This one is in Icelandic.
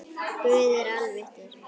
Guð er alvitur